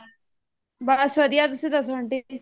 ਬੱਸ ਵਧੀਆ ਤੁਸੀਂ ਦੱਸੋ aunty ਜੀ